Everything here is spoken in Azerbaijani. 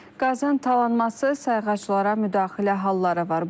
Qazın talanması, sayğaclara müdaxilə halları var.